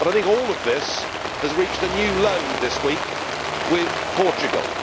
All of this has reached a new low this week, with Portugal.